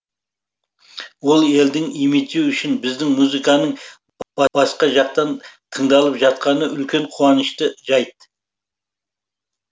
ол елдің имиджі үшін біздің музыканың басқа жақта тыңдалып жатқаны үлкен қуанышты жайт